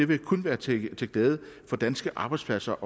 vil kun være til til glæde for danske arbejdspladser